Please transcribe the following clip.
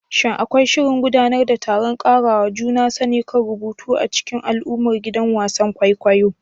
Shin akwai shirin gudanar da taron ƙarawa juna sani kan rubutu a cikin al'ummar gidan wasan kwaikwayo?